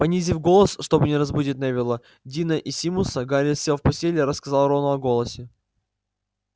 понизив голос чтобы не разбудить невилла дина и симуса гарри сел в постели и рассказал рону о голосе